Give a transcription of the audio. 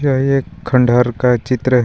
यह एक खंडर का चित्र है.